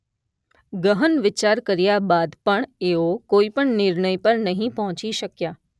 ગહન વિચાર કર્યા બાદ પણ એઓ કોઇપણ નિર્ણય પર નહીં પંહોચી શક્યા